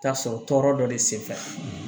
Taa sɔrɔ tɔɔrɔ dɔ de senfɛ